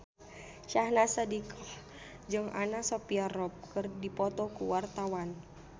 Syahnaz Sadiqah jeung Anna Sophia Robb keur dipoto ku wartawan